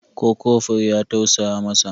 Ko kofur ya tausaya masa?